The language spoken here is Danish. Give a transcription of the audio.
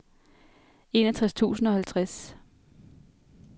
enogtres tusind og halvtreds